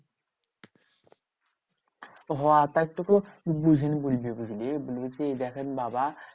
হ্যাঁ তাহলে তোকে বুঝিয়ান বলবি বুঝলি? বলবি কি দেখেন বাবা